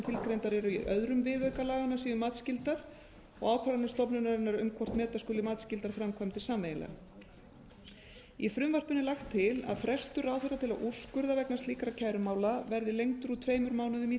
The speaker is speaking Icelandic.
tilgreindar er í öðrum viðauka laganna séu matsskyldar og ákvarðanir stofnunarinnar um hvort meta skuli matsskyldar framkvæmdir sameiginlega í frumvarpinu er lagt til að frestur ráðherra til að úrskurða vegna slíkra kærumála verði lengdur úr tveimur mánuðum í þrjá